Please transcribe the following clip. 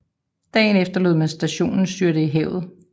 Dagen efter lod man stationen styrte i havet